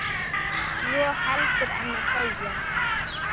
svo heldur en þegja